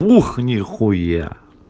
нехуя